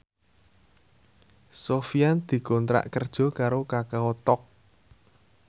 Sofyan dikontrak kerja karo Kakao Talk